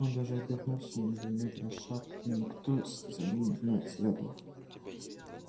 он даже обернулся не замедляя шаг но никто за ним не следовал